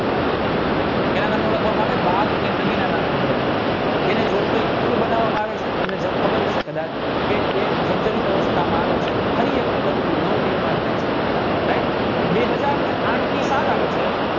can નામે ઓળખવામાં આવે બેગ એ નદીના નામે ઓળખવામાં આવે એને જોડતો એક પુલ બનાવ આવે છે તે એક જગદાદિક આવે છે અને ફરી એક વખત એનું નવું નિર્માણ થાય છે right બે હાજર અને આઠની સાલ આવે છે